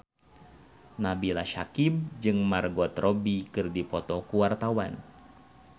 Nabila Syakieb jeung Margot Robbie keur dipoto ku wartawan